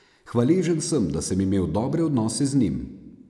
Hvaležen sem, da sem imel dobre odnose z njim.